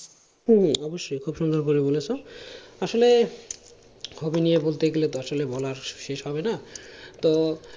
তুমি অবশ্যই খুব সুন্দর করে বলেছো আসলে hobby নিয়ে বলতে গেলে তো আসলে বলা শেষ হবে না তো